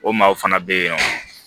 O maaw fana bɛ yen nɔ